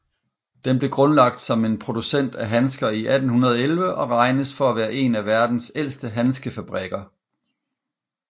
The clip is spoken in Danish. Den blev grundlagt som en producent af handsker i 1811 og regnes for at være en af verdens ældste handskefabrikker